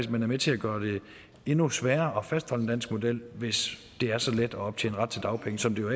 man er med til at gøre det endnu sværere at fastholde den danske model hvis det er så let at optjene ret til dagpenge som det jo